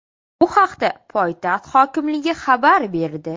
Bu haqda poytaxt hokimligi xabar berdi .